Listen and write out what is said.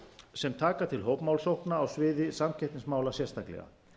sem taka til hópmálsókna á sviði samkeppnismála sérstaklega